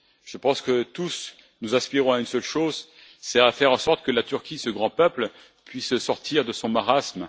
Je pense que, tous, nous aspirons à une seule chose faire en sorte que la Turquie, ce grand peuple, puisse sortir de son marasme.